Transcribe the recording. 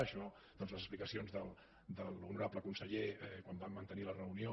això doncs les explicacions de l’honorable conseller quan vam mantenir la reunió